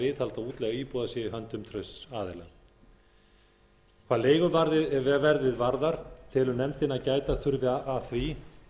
viðhald og útleiga íbúða sé í höndum trausts aðila hvað leiguverðið varðar telur nefndin að gæta þurfi að því